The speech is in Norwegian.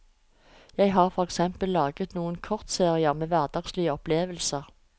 Jeg har for eksempel laget noen kortserier med hverdagslige opplevelser.